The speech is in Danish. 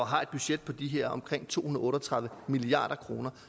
har et budget på de her omkring to hundrede otte og tredive milliard kroner